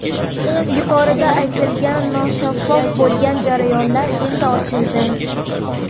Yuqorida aytilgan noshaffof bo‘lgan jarayonlar endi ochildi.